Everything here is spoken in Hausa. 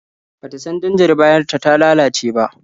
Ba ta san danjar bayanta ta lalace ba.